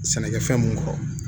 Sɛnɛkɛfɛn mun kɔrɔ